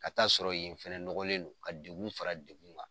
Ka taa sɔrɔ yen fana nɔgɔlen don ka degun fara degun kan.